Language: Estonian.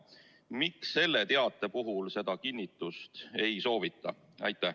Miks selle teate puhul seda kinnitust ei soovita?